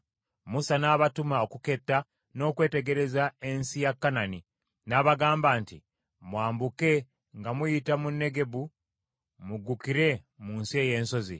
Musa n’abatuma okuketta n’okwetegereza ensi ya Kanani, n’abagamba nti, “Mwambuke nga muyita mu Negebu muggukire mu nsi ey’ensozi.